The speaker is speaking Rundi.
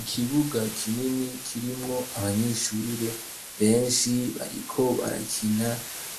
Ikibuga kinini kirimwo abanyeshure benshi bariko barakina